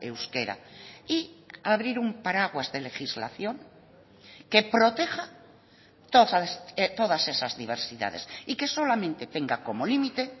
euskera y abrir un paraguas de legislación que proteja todas esas diversidades y que solamente tenga como límite